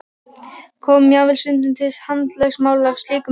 Kom jafnvel stundum til handalögmáls af slíkum sökum.